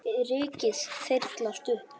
Rykið þyrlast upp.